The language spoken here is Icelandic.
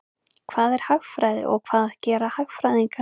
Hvað er hagfræði og hvað gera hagfræðingar?